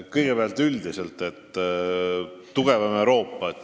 Kõigepealt tugevamast Euroopast.